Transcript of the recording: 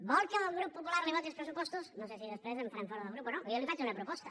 vol que el grup popular li voti els pressupostos no sé si després em faran fora del grup o no però jo li faig una proposta